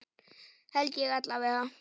Held ég alla vega.